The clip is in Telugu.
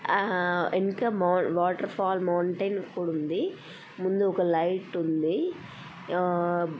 '' ఆ ఇంకా వాటర్ ఫాల్స్ మౌంటెన్ కూడా ఉంది. ముందు ఒక లైట్ ఉంది. ఆ''''--'''' ''